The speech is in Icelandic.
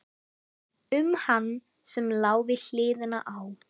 Um hann sem lá við hliðina á